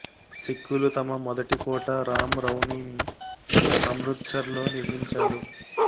సిక్ఖులు తమ మొదటి కోట రాం రౌనీని అమృత్ సర్ లో నిర్మించారు